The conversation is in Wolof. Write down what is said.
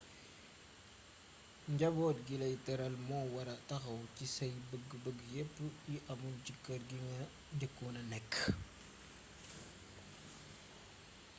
njaboot gi lay teral moo wara taxaw ci say bëgg bëgg yepp yi amul ci kër gi nga njëkkoona nekk